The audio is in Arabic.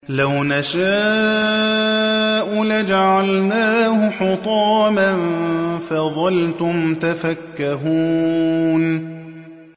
لَوْ نَشَاءُ لَجَعَلْنَاهُ حُطَامًا فَظَلْتُمْ تَفَكَّهُونَ